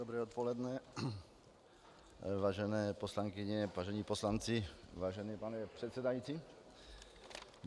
Dobré odpoledne, vážené poslankyně, vážení poslanci, vážený pane předsedající.